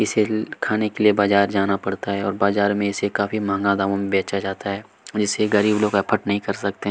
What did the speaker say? इसे खाने के लिए बाजार जाना पड़ता है और बाजार में इसे काफी महंगा दामों में बेचा जाता है इसे गरीब लोग अफ़्फोर्ड नहीं कर सकते।